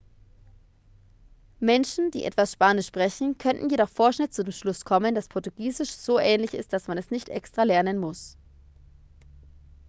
menschen die etwas spanisch sprechen könnten jedoch vorschnell zu dem schluss kommen dass portugiesisch so ähnlich ist dass man es nicht extra lernen muss